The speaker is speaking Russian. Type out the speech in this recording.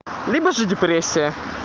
рыба же депрессия